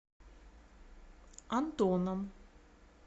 антоном